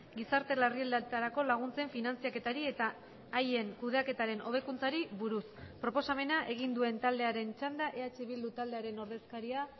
gizartelarrialdietarako laguntzen finantzaketari eta haien kudeaketaren hobekuntzari buruz proposamena egin duen taldearen txanda eh bildu taldearen ordezkaria